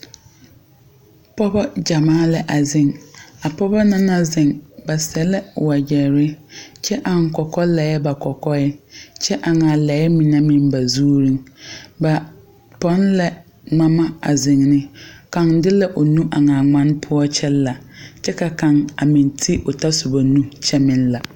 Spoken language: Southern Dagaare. Pɔɔbɔ gyamaa la a zeŋ a pɔɔbɔ na naŋ zeŋ ba seɛ ka wagyɛrre kyɛ aŋ kɔkɔlɛɛ ba kɔkɔɛŋ kyɛ aŋaa a lɛɛ mine meŋ ba zuŋ ba pɔn la ngmama a zeŋ ne kaŋ de la o nu aŋaa ngmane poɔ kyɛ la kyɛ ka kaŋ a meŋ te tasoba nu kyɛ meŋ la.